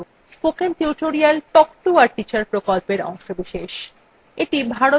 spoken tutorial talk to a teacher প্রকল্পের অংশবিশেষ